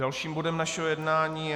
Dalším bodem našeho jednání je